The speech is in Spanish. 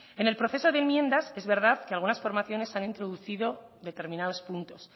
en el proceso de enmiendas es verdad que algunas formaciones han introducido determinados puntos